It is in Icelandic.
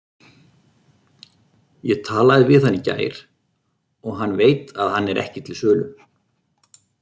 Ég talaði við hann í gær og hann veit að hann er ekki til sölu.